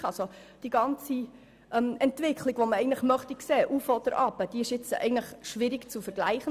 Dadurch ist die Entwicklung, die man eigentlich sehen möchte, nur schwierig zu zeigen.